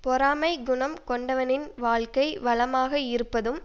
பொறாமைக் குணம் கொண்டவனின் வாழ்க்கை வளமாக இருப்பதும்